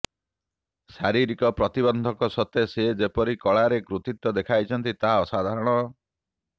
ଶାରୀରିକ ପ୍ରତିବନ୍ଧକ ସତ୍ତ୍ୱେ ସେ ଯେପରି କଳାରେ କୃତିତ୍ୱ ଦେଖାଇଛନ୍ତି ତାହା ଅସାଧାରଣ